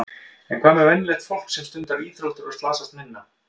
En hvað með venjulegt fólk sem stundar íþróttir og slasast minna?